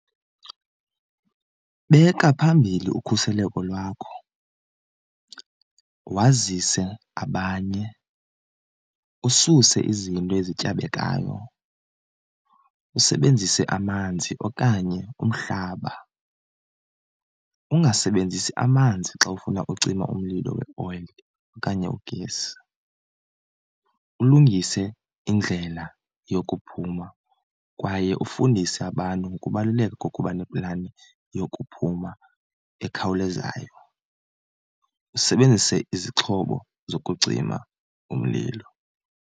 Beka phambili ukhuseleko lwakho, wazise abanye, ususe izinto ezityabekayo, usebenzise amanzi okanye umhlaba, ungasebenzisi amanzi xa ufuna ucima umlilo weoyile okanye ugesi, ulungise indlela yokuphuma kwaye ufundise abantu ngokubaluleka kokuba neplani yokuphuma ekhawulezayo. Usebenzise izixhobo zokucima umlilo.